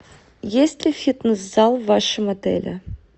есть ли фитнес зал в вашем отеле